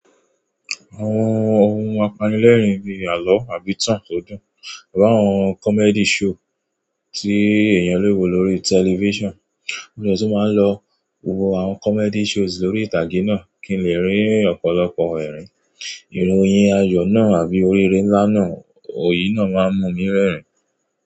Àwọn ohun apanilẹ́rìn bíi àlọ́ àbí ìtàn to dún, iru àwọn comedy show tí èèyàn lè wo lórí television, mo dẹ tún máa ń lọ wo àwọn comedy shows lórí ìtàgé náà kí n lè rín ọ̀pọ̀lọpọ̀ ẹ̀rín. Ìròyìn ayọ̀ náà àbí oríire ńlá náà, ò yìí náà máa ń mú mi rẹ́rìn-ín.